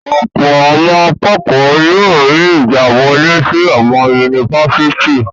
Ọ̀pọ̀ àwọn akẹ́kọ̀ọ́ yóò rí ìgbàwọlé sí àwọn yunifásítì.